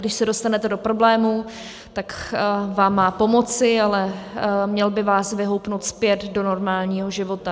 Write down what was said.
Když se dostanete do problémů, tak vám má pomoci, ale měl by vás vyhoupnout zpět do normálního života.